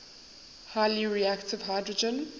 highly reactive hydrogen